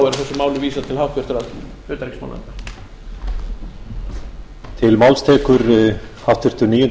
að þessari umræðu lokinni verði málinu vísað til háttvirtrar utanríkismálanefndar